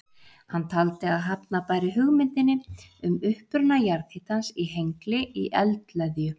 Hann taldi að hafna bæri hugmyndinni um uppruna jarðhitans í Hengli í eldleðju.